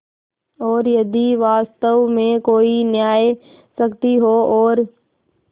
और यदि वास्तव में कोई न्यायशक्ति हो और